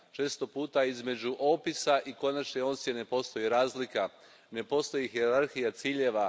Često između opisa i konačne ocjene postoji razlika, ne postoji hijerarhija ciljeva.